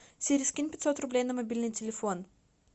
сири скинь пятьсот рублей на мобильный телефон